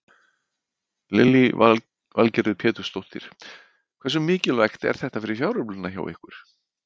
Lillý Valgerður Pétursdóttir: Hversu mikilvægt er þetta fyrir fjáröflunina hjá ykkur?